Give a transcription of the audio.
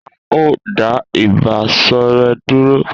A o da iba ṣọrẹ dúró